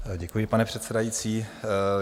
Děkuji, pane předsedající.